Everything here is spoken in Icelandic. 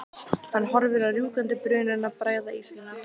Hann horfir á rjúkandi bununa bræða íshelluna.